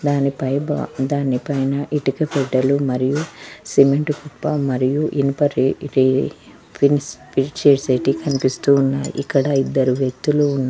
దాని పై భా దాని పైన ఇటుక పెట్టెలు మరియు సిమెంటు కుప్ప మరియు ఇనుప రే రే ఫిన్స్ ఫిట్ చేసేటి కనిపిస్తూ ఉన్నాయ్ ఇక్కడ ఇద్దరు వ్యక్తులు ఉన్నా--